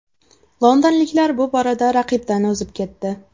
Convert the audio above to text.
Londonliklar bu borada raqibdan o‘zib ketdi.